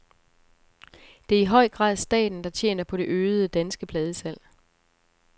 Det er i høj grad staten, der tjener på det øgede danske pladesalg.